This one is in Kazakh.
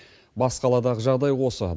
бас қаладағы жағдай осы